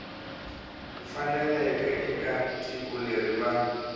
faneleke eka tiko leri va